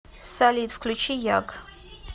салют включи яг